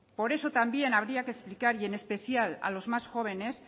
por eso también habría que explicar y en especial a los más jóvenes